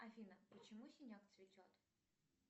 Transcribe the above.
афина почему синяк цветет